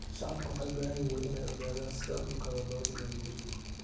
Shacabku waxay u baahan yihiin inay ogaadaan sida dhulka loo diiwaangeliyo.